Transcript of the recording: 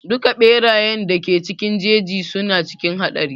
Duka ɓerayen da ke cikin jeji suna cikin haɗari.